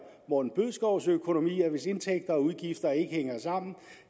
morten bødskovs økonomi at hvis indtægter og udgifter ikke hænger sammen